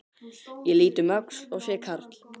Ég lít um öxl og sé karl